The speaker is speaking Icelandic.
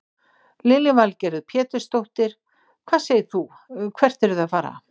Lillý Valgerður Pétursdóttir: Hvað segir þú hvert eruð þið að fara?